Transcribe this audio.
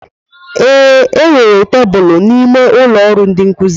Ee, e nwere tebụl n'ime ụlọ ọrụ ndi nkuzi.